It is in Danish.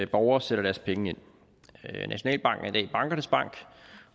borgere sætter deres penge ind nationalbanken er i dag bankernes bank